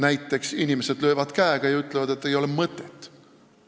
Näiteks, inimesed löövad käega ja ütlevad, et ei ole mõtet.